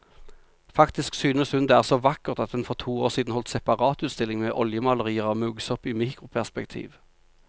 Faktisk synes hun det er så vakkert at hun for to år siden holdt separatutstilling med oljemalerier av muggsopp i mikroperspektiv.